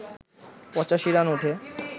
৮৫ run ওঠে